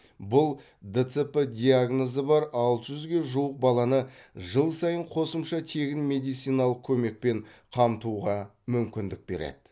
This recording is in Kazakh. бұл дцп диагнозы бар алты жүзге жуық баланы жыл сайын қосымша тегін медициналық көмекпен қамтуға мүмкіндік береді